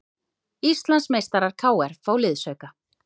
Íslandsmeistarar KR fá liðsauka